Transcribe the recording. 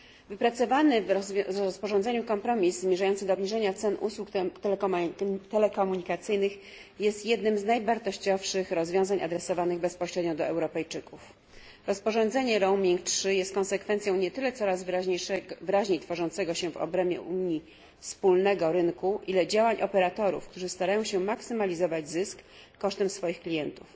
Wypracowany w rozporządzeniu kompromis zmierzający do obniżenia cen usług telekomunikacyjnych jest jednym z najwartościowszych rozwiązań adresowanych bezpośrednio do Europejczyków. Rozporządzenie Roaming 3 jest konsekwencją nie tyle coraz wyraźniej tworzącego się w obrębie Unii wspólnego rynku, ile działań operatorów, którzy starają się maksymalizować zysk kosztem swoich klientów.